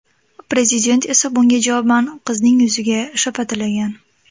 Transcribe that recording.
Prezident esa bunga javoban qizning yuziga shapatilagan.